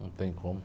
Não tem como.